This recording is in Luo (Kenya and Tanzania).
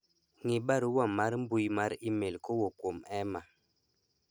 ng'i barua mar mbui mar email kowuok kuom Emma